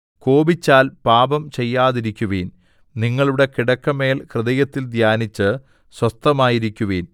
കോപിച്ചാൽ പാപം ചെയ്യാതിരിക്കുവിൻ നിങ്ങളുടെ കിടക്കമേൽ ഹൃദയത്തിൽ ധ്യാനിച്ച് സ്വസ്ഥമായിരിക്കുവിൻ സേലാ